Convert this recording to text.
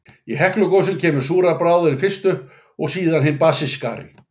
Í Heklugosum kemur súra bráðin fyrst upp, og síðan hin basískari.